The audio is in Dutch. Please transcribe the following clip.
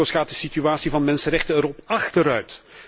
In andere regio's gaat de situatie van de mensenrechten erop achteruit.